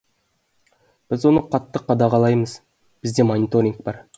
біз оны қатты қадағалаймыз бізде мониторинг бар